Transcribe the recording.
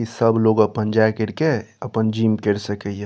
ई सब लोग अपन जाए कर के अपन जीम कर सक हिए।